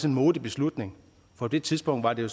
en modig beslutning på det tidspunkt var det